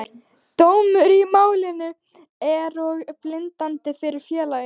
Dómur í málinu er og bindandi fyrir félagið.